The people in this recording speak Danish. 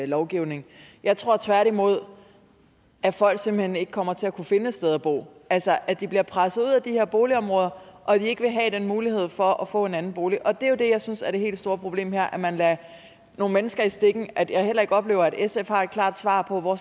lovgivning jeg tror tværtimod at folk simpelt hen ikke kommer til at kunne finde et sted at bo altså at de bliver presset ud af de her boligområder og at de ikke vil have den mulighed for at få en anden bolig og det jeg synes er det helt store problem her er at man lader nogle mennesker i stikken og at jeg heller ikke oplever at sf har et klart svar på hvor